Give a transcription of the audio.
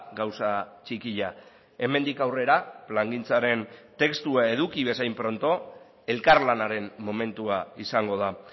gauza txikia hemendik aurrera plangintzaren testua eduki bezain pronto elkarlanaren momentua izango da